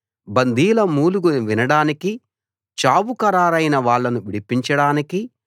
బందీల మూలుగులు వినడానికీ చావు ఖరారైన వాళ్ళను విడిపించడానికీ